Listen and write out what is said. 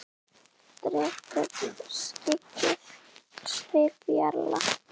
Depurð skyggði svip jarla.